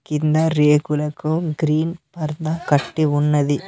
కింద రేకులకు గ్రీన్ పరదా కట్టి ఉన్నది.